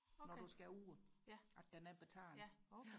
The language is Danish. når du skal ud at den er betalt